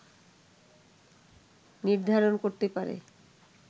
নির্ধারণ করতে পারে